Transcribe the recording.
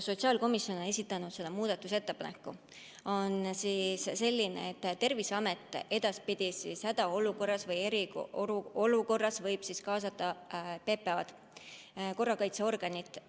Sotsiaalkomisjon on esitanud muudatusettepaneku, mis on selline, et Terviseamet edaspidi hädaolukorras või eriolukorras võib kaasata PPA-d, korrakaitseorganit.